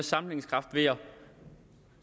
sammenhængskraft ved at